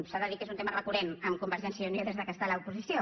s’ha de dir que és un tema recurrent en convergència i unió des que està a l’oposició